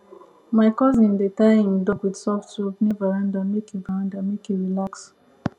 my cousin dey tie him dog with soft rope near veranda make e veranda make e relax